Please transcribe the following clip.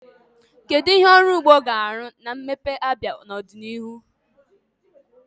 Kedu ihe ọrụ ugbo ga-arụ na mmepe Abia n'ọdịnihu?